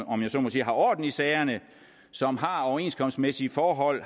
om jeg så må sige har orden i sagerne som har overenskomstmæssige forhold